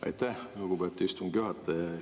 Aitäh, lugupeetud istungi juhataja!